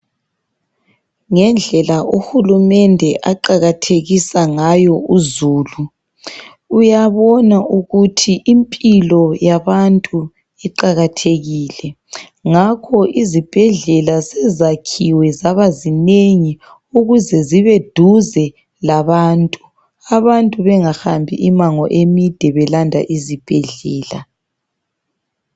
Ngendlela uhulumende aqakathekisa ngayo uzulu. Uyabona ukuthi impilo yabantu iqakathekile ngakho izibhedlela sezakhiwe zabazinengi ukuze zibeduze labantu, abantu bengahambi imango emide belanda izibhedlela.